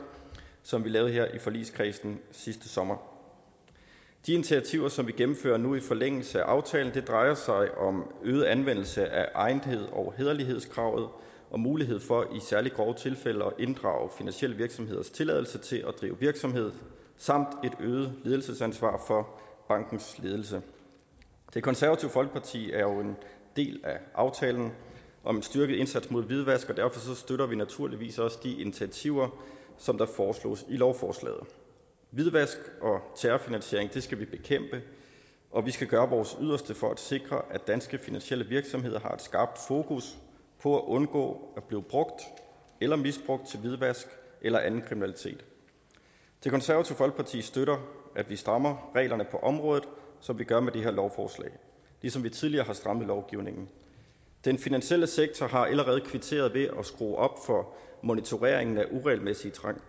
som vi lavede her i forligskredsen sidste sommer de initiativer som vi gennemfører nu i forlængelse af aftalen drejer sig om øget anvendelse af egnetheds og hæderlighedskravet og mulighed for i særlig grove tilfælde at inddrage finansielle virksomheders tilladelse til at drive virksomhed samt et øget ledelsesansvar for bankens ledelse det konservative folkeparti er jo en del af aftalen om en styrket indsats mod hvidvask og derfor støtter vi naturligvis også de initiativer som der foreslås i lovforslaget hvidvask og terrorfinansiering skal vi bekæmpe og vi skal gøre vores yderste for at sikre at danske finansielle virksomheder har et skarpt fokus på at undgå at blive brugt eller misbrugt til hvidvask eller anden kriminalitet det konservative folkeparti støtter at vi strammer reglerne på området som vi gør med det her lovforslag ligesom vi tidligere har strammet lovgivningen den finansielle sektor har allerede kvitteret ved at skrue op for monitoreringen af uretmæssige